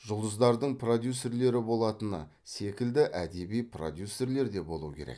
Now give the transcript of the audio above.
жұлдыздардың продюссерлері болатыны секілді әдеби продюсерлер де болуы керек